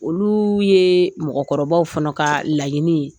Olu ye mɔgɔkɔrɔbaw fana ka laɲini ye